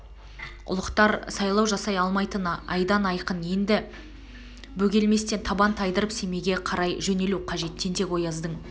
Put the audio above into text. ұлықтар сайлау жасай алмайтыны айдан айқын еді енді бөгелместен табан тайдырып семейге қарай жөнелу қажет тентек-ояздың